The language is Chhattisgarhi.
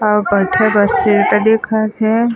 अउ बइठे बर सीट दिखत हे।